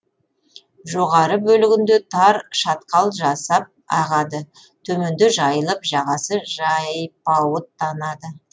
жоғары бөлігінде тар шатқал жасап ағады төменде жайылып жағасы жайпауыттанады